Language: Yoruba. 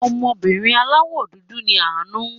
Ọmọbìnrin aláwò dúdú ni Àánú.